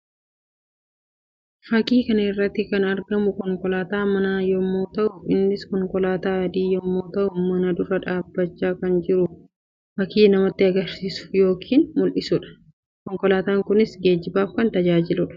Fakkii kana irratti kan argamu konkolaataa manaa yammuu ta'u; innis konkolaataa adii yammuu ta'u mana dura dhaabbachaa kan jiru fakkii namatti agarsiisu yookiin mul'isuudha. Konkolaataan kunis geejjibaaf kan tajaajiluu dha.